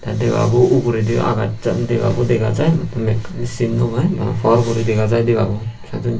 tey debabo uguredi agachan debabo dega jai mekkani cin naw pai por guri dega jai debabo sajonney.